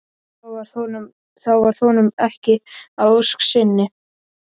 þá varð honum ekki að ósk sinni.